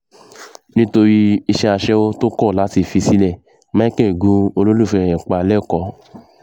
nítorí iṣẹ́ aṣẹ́wó tó kọ̀ láti fi sílẹ̀ micheal gun olólùfẹ́ ẹ̀ pa lẹ́kọ̀ọ́